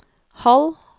halv